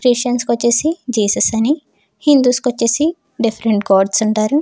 Christians కు వచ్చేసి Jesus అని హిందూస్కి వచ్చేసి డిఫరెంట్ గాడ్స్ అని అంటారు.